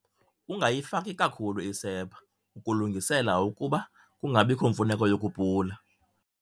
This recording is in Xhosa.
Ungayifaki kakhulu isepha, ukulungisela ukuba kungabiko mfuneko yokupula.